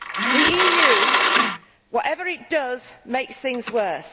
The EU, whatever it does, makes things worse.